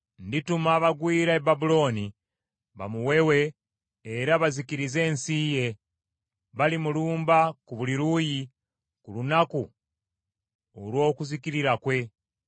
Ndituma abagwira e Babulooni bamuwewe era bazikirize ensi ye; balimulumba ku buli luuyi ku lunaku olw’okuzikirira kwe.